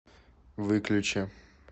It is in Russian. выключи